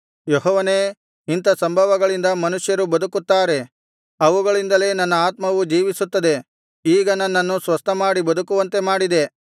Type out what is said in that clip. ಯೆಹೋವನೇ ಇಂಥಾ ಸಂಭವಗಳಿಂದ ಮನುಷ್ಯರು ಬದುಕುತ್ತಾರೆ ಅವುಗಳಿಂದಲೇ ನನ್ನ ಆತ್ಮವು ಜೀವಿಸುತ್ತದೆ ಈಗ ನನ್ನನ್ನು ಸ್ವಸ್ಥಮಾಡಿ ಬದುಕುವಂತೆ ಮಾಡಿದೆ